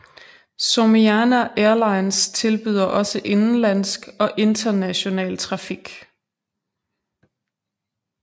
Somiana Airlines tilbyder også indenlandsk og international trafik